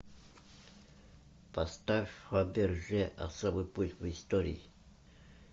поставь фаберже особый путь в истории